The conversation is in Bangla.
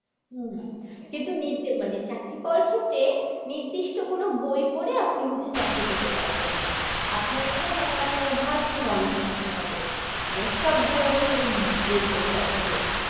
হম কিন্তু নিজ মানে চাকরি করার ক্ষেত্রে নির্দিষ্ট কোনো বই পরে আপনি হচ্ছে চাকরি পেতে পারবেন না আপনার এখানে মানে আপনার vast knowledge থাকতে হবে মানে সব ধরনের উম বই পড়তে হবে